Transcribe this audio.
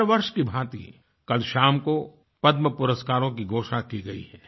हर वर्ष की भाँति कल शाम को पद्म पुरस्कारों की घोषणा की गई है